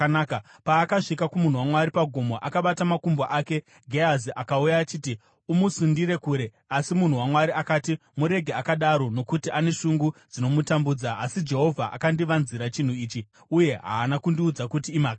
Paakasvika kumunhu waMwari paGomo, akabata makumbo ake. Gehazi akauya achiti amusundire kure, asi munhu waMwari akati, “Murege akadaro! Nokuti ane shungu dzinomutambudza, asi Jehovha akandivanzira chinhu ichi uye haana kundiudza kuti imhaka yei.”